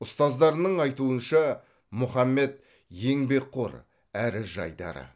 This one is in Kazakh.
ұстаздарының айтуынша мұхаммед еңбекқор әрі жайдары